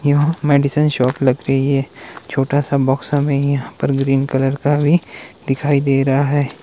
यहां medicine shop लग रही है छोटा सा बॉक्स हमें यहां पर ग्रीन कलर का भी दिखाई दे रहा है।